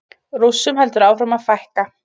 Rússum heldur áfram að fækka